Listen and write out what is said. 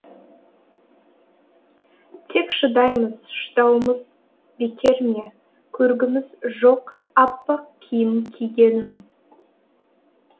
тек шыдаймыз шыдауымыз бекер ме көргіміз жоқ аппақ киім кигенін